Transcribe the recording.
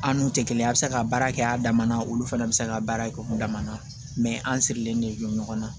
An n'u tɛ kelen a bɛ se ka baara kɛ a dama na olu fana bɛ se ka baara kɛ o kun dama na an sirilen de don ɲɔgɔn na